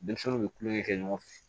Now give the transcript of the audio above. Denmisɛnninw bɛ kulonkɛ kɛ ɲɔgɔn fɛ